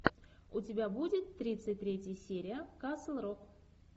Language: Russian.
у тебя будет тридцать третья серия касл рок